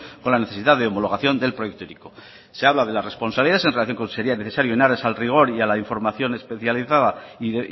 con la necesidad de homologación del proyecto hiriko se habla de la responsabilidad en relación con en aras el rigor y a la información especializada y